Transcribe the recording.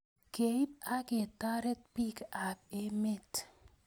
keip aiketaret pik ap emet